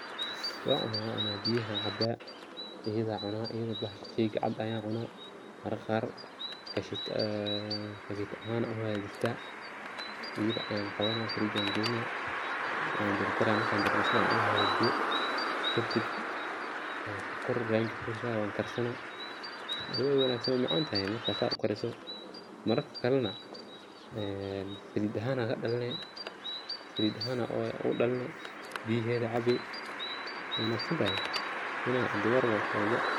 Wa cuna, biyaha caba iyada cuna, sheyga cuna mararka qar kashita ahan uhadista, iyada ayan qawana firig ayan galina wan jarjara marka jarjaro sifican uhagajiyo kadib ayan sokor kor ogashuwa wana karsana, adhiga wey wanagsantahay wey macantahay markad sida ukariso, mararka kalena salid ahan kadhaline, biyahedda cabee wey wanagsantahay.